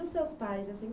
E os seus pais?